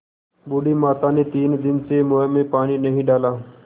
बूढ़ी माता ने तीन दिन से मुँह में पानी नहीं डाला